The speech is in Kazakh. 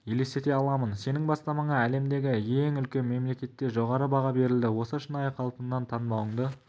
елестете аламын сенің бастамаңа әлемдегі ең үлкен мемлекетте жоғары баға берілді осы шынайы қалпыңнан танбауыңды